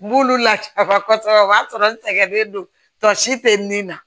N b'olu lasiran kosɛbɛ o b'a sɔrɔ n sɛgɛnnen don tɔ si tɛ nin na